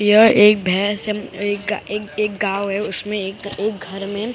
यह एक भैंस है एक गा एक एक गांव है उसमें एक एक घर में --